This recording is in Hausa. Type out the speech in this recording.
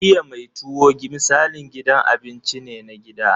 Iya mai tuwo misalin gidan cin abinci ne na gida.